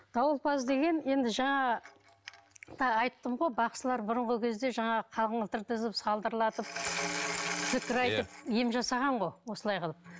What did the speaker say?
дауылпаз деген енді жаңағы тағы айттым ғой бақсылар бұрынғы кезде жаңағы қаңылтыр тізіп салдырлатып зікір айтып ем жасаған ғой осылай қылып